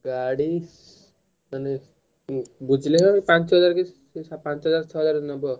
ଗାଡି ବୁଝିଲେ କି ପାଞ୍ଚ ହଜାର କି ନେବ।